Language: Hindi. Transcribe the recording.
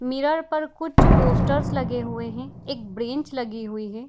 मिरर पर कुछ पोस्टर्स लगे हुए है एक ब्रेंच लगी हुई है।